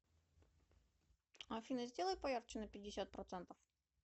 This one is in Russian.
афина сделай поярче на пятьдесят процентов